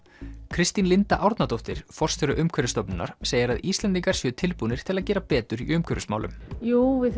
Kristín Linda Árnadóttir forstjóri Umhverfisstofnunar segir að Íslendingar séu tilbúnir til að gera betur í umhverfismálum jú við